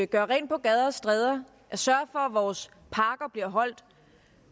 gøre rent på gader og stræder sørge for at vores parker bliver holdt